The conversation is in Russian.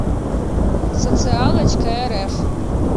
социалочкарф